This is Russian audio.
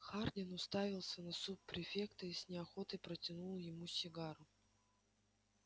хардин уставился на суб-префекта и с неохотой протянул ему сигару